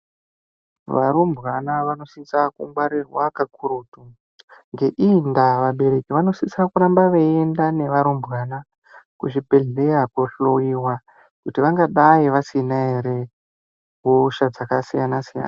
Varumbwana vanosisa kungwarirwa kakurutu ngeiyi ndaa vabereki vanosisa kuramba veyienda enda nevana neva rumbwana kuzvibhedhlera kunohloyiwa kuti vangadai vasina here hosha dzakasiyana siyana.